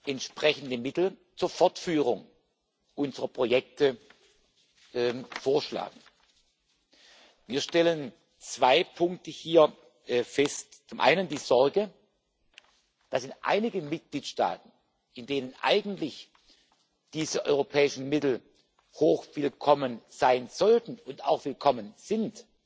entsprechende Mittel zur Fortführung unserer Projekte vorschlagen. Wir stellen zwei Punkte hier fest Zum einen die Sorge, dass in einigen Mitgliedstaaten, in denen eigentlich diese europäischen Mittel hochwillkommen sein sollten und auch willkommen sind,